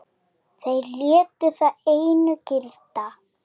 Þeir létu það einu gilda.